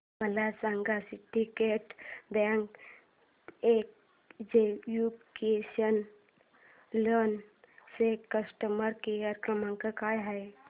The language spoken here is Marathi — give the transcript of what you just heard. मला सांगा सिंडीकेट बँक एज्युकेशनल लोन चा कस्टमर केअर क्रमांक काय आहे